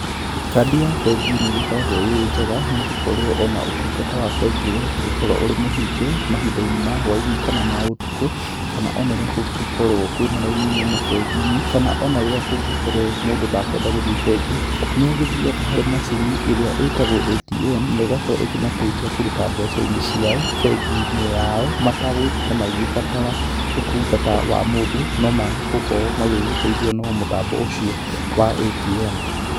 Kandi ya bengi nĩ ĩgĩkoragwo ĩ njega nĩ gũkorwo ona ũtungata wa bengi ĩyo ũngĩgĩkirwo ũrĩ mũhinge, mahinda-inĩ ma hwainĩ kana ma ũtukũ, kana ona rĩrĩa kũngĩgĩkorwo kwina raini nene bengi-inĩ, kana ona rĩrĩa kũngĩkorwo mũndũ ndekweda gũthiĩ bengi, nĩ agĩthiaga harĩ macini ĩria ĩtagwo ATM negakorwo ĩkĩmateithia kũruta mbeca-inĩ ciao, bengi-inĩ yao mategũgĩtinda magĩbatara ũtungata wa mũndũ, no megũkorwo magĩteithio nĩ mũtambo ũcio wa ATM.